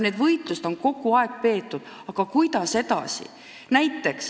Neid võitlusi on kogu aeg peetud, aga kuidas edasi?